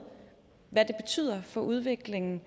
i for udviklingen